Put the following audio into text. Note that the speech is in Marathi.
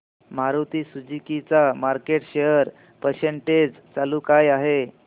मारुती सुझुकी चा मार्केट शेअर पर्सेंटेज काय चालू आहे